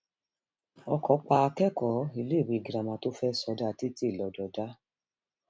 ọkọ pa akẹkọọ iléèwé girama tó fẹẹ sọdá títì lọdọdá